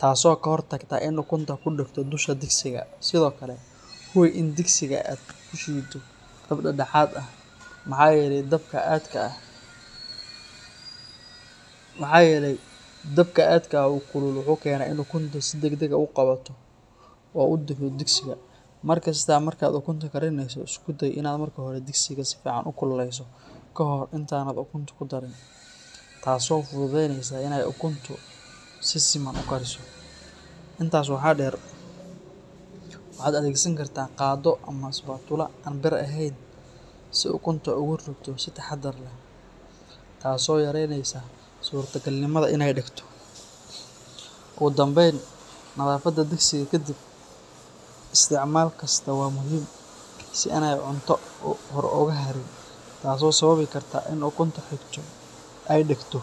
taas oo hakor tagto in ukunta kudagto, sida daqsiga , Sidhokale digsiga aad kushuwatid ukun dadahat ah, waxa yele danka aadka ah oo kulul wuxu kena in ukunta si dagdag ah ogudagto, markas markad ukunta karineyso wa inad si fudud ukukuleyso kahor in aadan kudarin, taas oo fududeyneyso ukuntu si siman ukariso, intas waxa deer waxad adegsan kartaa gaado ama spankula, biir aheyn si ukunta ugurido sii tahadar ah, taas oo yareyneysa surta galnimada inay dagtk, ogudambeyn nadafada digsiga kadib isticmalka wa muxiim, in ay cunto ogaharin taas oo sababi karta in ukunta ay dagto.